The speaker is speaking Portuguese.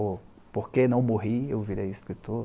Ou, porque não morri, eu virei escritor.